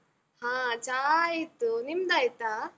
ಹಾ ಚಾ ಆಯ್ತು, ನಿಮ್ದಾಯ್ತಾ?